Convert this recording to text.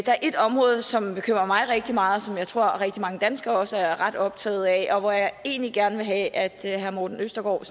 er et område som bekymrer mig rigtig meget og som jeg tror rigtig mange danskere også er ret optaget af og hvor jeg egentlig gerne vil have at herre morten østergaard